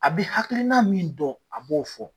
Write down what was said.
A bi hakilina min dɔn a b'o fɔ.